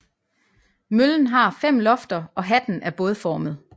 Møllen har fem lofter og hatten er bådformet